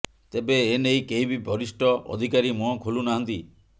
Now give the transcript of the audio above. ତେବେ ଏନେଇ କେହି ବି ବରିଷ୍ଠ ଅଧିକାରୀ ମୁହଁ ଖୋଲୁନାହାନ୍ତି